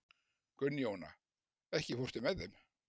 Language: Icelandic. Gunnjóna, ekki fórstu með þeim?